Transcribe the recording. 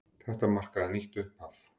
Þetta markaði nýtt upphaf.